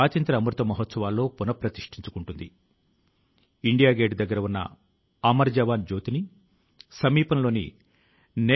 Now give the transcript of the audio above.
బహు రత్న వసుంధర గా పేర్కొనే భారతదేశ పుణ్యకార్యాల ఎడతెగని ప్రవాహం నిరంతరం ప్రవహిస్తూనే ఉన్నందుకు సంతోషిస్తున్నాను